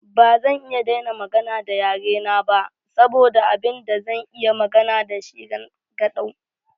Ba zan iya daina magana da yare na ba saboda abin da zan iya magana da shi rangadau.